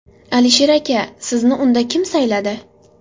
Alisher aka, sizni unda kim sayladi?